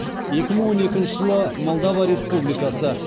екі мың он екінші жылы молдова республикасы